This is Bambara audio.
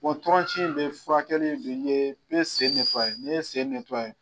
tɔrɔnci in bɛ furakɛ nin ye bɛ sen n'i ye sen